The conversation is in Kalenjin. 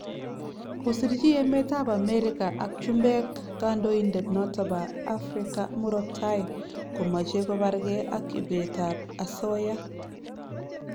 kosirchi emet ab America ak Chumbek knadoindet noton bo Africa murot tai komache kobarke ak ibet ab asoya